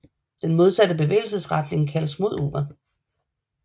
Den modsatte bevægelsesretning kaldes mod uret